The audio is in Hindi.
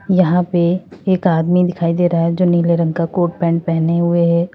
यहां पे एक आदमी दिखाई दे रहा है जो नीले रंग का कोट पैंट पहने हुए हैं।